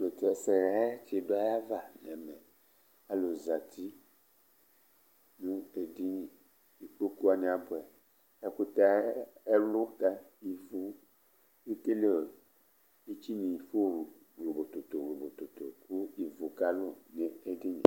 Ilevlesɛ yɛ ti du ayʋ ava nʋ ɛmɛ Alu zɛti nʋ edini Ikpoku wani abʋɛ Ɛkʋtɛ ayʋ ɛlutɛ ívu, etsine ifo wlobo toto wlobo toto kʋ ivʋ kalu nʋ edini ye